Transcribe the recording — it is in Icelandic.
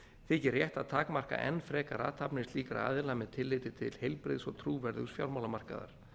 þykir rétt að takmarka enn frekar athafnir slíkra aðila með tilliti til heilbrigðs og trúverðugs fjármálamarkaðar